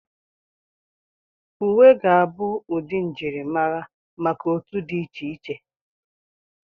Uwe ga-abụ ụdị njirimara maka otu dị iche iche.